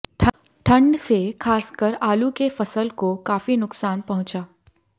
ठंड से खास कर आलू के फसल को काफी नुकसान पहुंचा